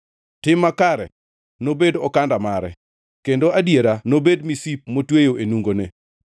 Tim makare nobed okanda mare kendo adiera nobed misip motweyo e nungone.